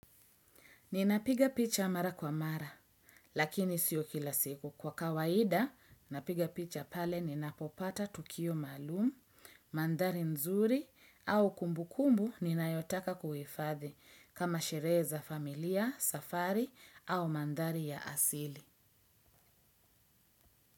Ninapiga picha mara kwa mara, lakini sio kila siku. Kwa kawaida, napiga picha pale ninapopata tukio maalumu, manthari nzuri au kumbukumbu ninayotaka kuhifadhi kama sherehe za familia, safari au manthari ya asili.